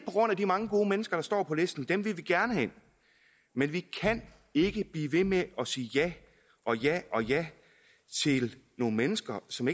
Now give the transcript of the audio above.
grund af de mange gode mennesker der står på listen dem vil vi gerne have ind men vi kan ikke blive ved med at sige ja og ja og ja til nogle mennesker som